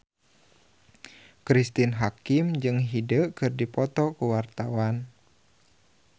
Cristine Hakim jeung Hyde keur dipoto ku wartawan